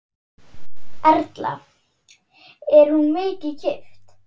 Erla: Er hún mikið keypt?